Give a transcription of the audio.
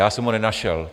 Já jsem ho nenašel.